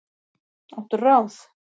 Áttu ráð?